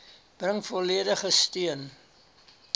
bring volledige steun